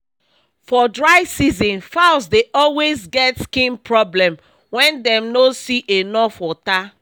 for dry season fowls dey always get skin problem wen dem no see enough water